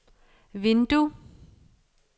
vindue